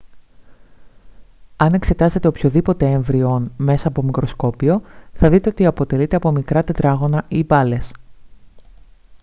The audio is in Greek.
αν εξετάσετε οποιοδήποτε έμβιο ον μέσα από μικροσκόπιο θα δείτε ότι αποτελείται από μικρά τετράγωνα ή μπάλες